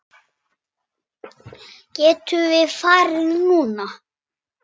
Getum við farið núna?